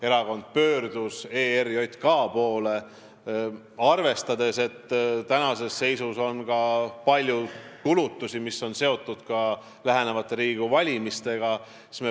Erakond pöördus ERJK poole palvega võlg ajatada, kuna praeguses seisus on meil ka palju kulutusi seoses lähenevate Riigikogu valimistega.